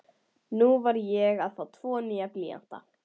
Núna var ég að fá tvo nýja blýanta.